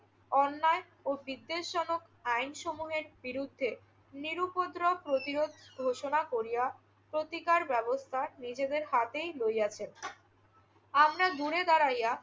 অন্যায় ও বিদ্বেষজনক আইনসমূহের বিরুদ্ধে নিরুপদ্রব প্রতিরোধ ঘোষণা করিয়া প্রতিকার ব্যবস্থা নিজেদের হাতেই লইয়াছেন। আমরা ঘুরে দাঁড়াইয়া